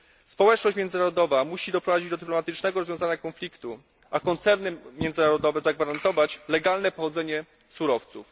Społeczność międzynarodowa musi doprowadzić do dramatycznego rozwiązania konfliktu, a koncerny międzynarodowe muszą zagwarantować legalne pochodzenie surowców.